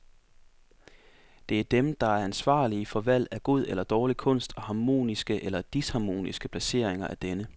Det er dem der er ansvarlige for valg af god eller dårlig kunst og harmoniske eller disharmoniske placeringer af denne.